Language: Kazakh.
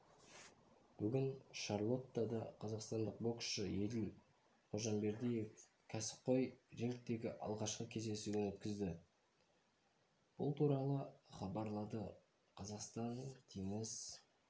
бүгін шарлоттада қазақстандық боксшы еділ қожамбердиев кәсіпқой рингтегі алғашқы кездесуін өткізді бұл туралы хабарлады қазақстан теңіз